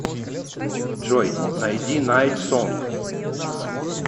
джой найди найт сонгс